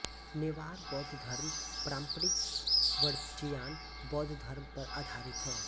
नेवार बौद्ध धर्म पारंपरिक वज्रयान बौद्ध धर्म पर आधारित है